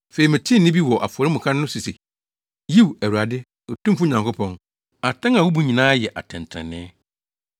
Afei metee nne bi wɔ afɔremuka no so se, “Yiw, Awurade, Otumfo Nyankopɔn, atɛn a wubu nyinaa yɛ atɛntrenee!”